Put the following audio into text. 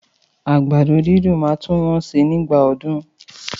Àgbàdo dídùn máa tún wọ́n si nígbà ọdún.